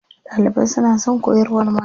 Ɗalibai suna son koyarwar malamin.